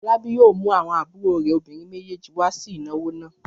Fọlábí yóò mú àwọn àbúrò rẹ̀ obìnrin méjèèjì wá sí ìnáwó náà!